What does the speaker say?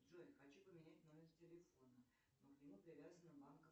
джой хочу поменять номер телефона но к нему привязана